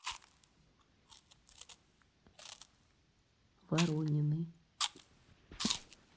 воронины